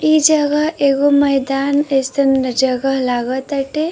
ई जगह एगो मैदान अइसन जगह लाग ताटे।